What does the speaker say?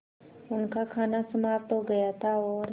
उनका खाना समाप्त हो गया था और